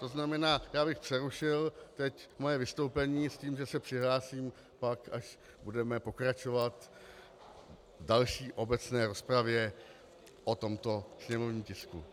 To znamená, já bych přerušil teď svoje vystoupení s tím, že se přihlásím pak, až budeme pokračovat v další obecné rozpravě o tomto sněmovním tisku.